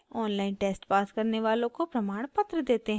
online test pass करने वालों को प्रमाणपत्र देते हैं